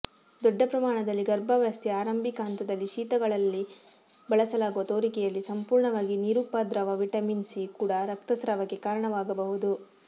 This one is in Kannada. ದೊಡ್ಡ ಪ್ರಮಾಣದಲ್ಲಿ ಗರ್ಭಾವಸ್ಥೆಯ ಆರಂಭಿಕ ಹಂತದಲ್ಲಿ ಶೀತಗಳಲ್ಲಿ ಬಳಸಲಾಗುವ ತೋರಿಕೆಯಲ್ಲಿ ಸಂಪೂರ್ಣವಾಗಿ ನಿರುಪದ್ರವ ವಿಟಮಿನ್ ಸಿ ಕೂಡ ರಕ್ತಸ್ರಾವಕ್ಕೆ ಕಾರಣವಾಗಬಹುದು